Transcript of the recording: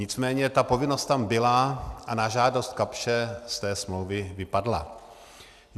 Nicméně ta povinnost tam byla a na žádost Kapsche z té smlouvy vypadla.